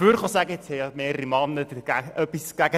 Bisher haben mehrere Männer gegen diesen Antrag gesprochen.